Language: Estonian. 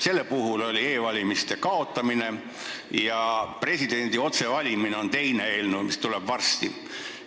Selle eelnõu eesmärk oli e-valimise kaotamine ja teisel eelnõul, mis tuleb varsti, presidendi otsevalimine.